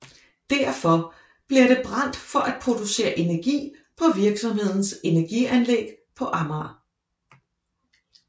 Derfor bliver det brændt for at producere energi på virksomhedens energianlæg på Amager